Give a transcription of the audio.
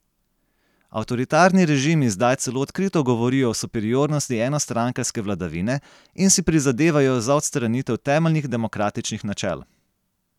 Avtoritarni režimi zdaj celo odkrito govorijo o superiornosti enostrankarske vladavine in si prizadevajo za odstranitev temeljnih demokratičnih načel.